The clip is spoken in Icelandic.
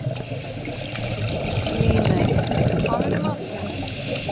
Líney, hvað er í matinn?